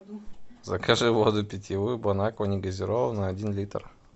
закажи воду питьевую бон аква не газированную один литр